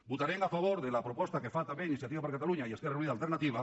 votarem a favor de la proposta que fa també iniciativa per catalunya i esquerra unida i alternativa